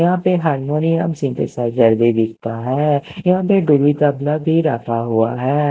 यहाँ पे harmonium synthesizer भी दिखता है यहाँ पे ढोली तबला भी रखा हुआ हैं।